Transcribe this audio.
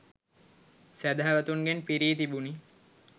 සැදැහැවතුන්ගෙන් පිරී තිබුණි